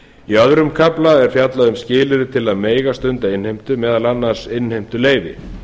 í öðrum kafla er fjallað um skilyrði til að mega stunda innheimtu meðal annars innheimtuleyfi